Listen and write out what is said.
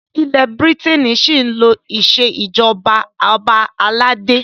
Ilẹ́ Bírítènì ṣí ń lo ìṣèjọba ọba aládé.